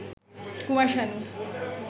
Kumar Sanu